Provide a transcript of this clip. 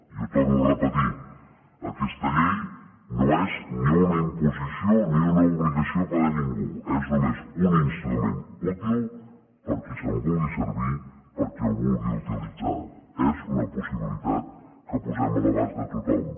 i ho torno a repetir aquesta llei no és ni una imposició ni una obligació per a ningú és només un instrument útil per qui se’n vulgui servir per qui el vulgui utilitzar és una possibilitat que posem a l’abast de tothom